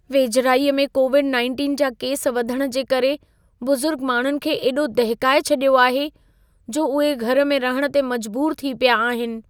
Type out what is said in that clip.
वेझिराईअ में कोविड-19 जा केस वधण जे करे बुज़ुर्ग माण्हुनि खे एॾो दहिकाए छॾियो आहे, जो उहे घर में रहण ते मजबूर थी पिया आहिनि।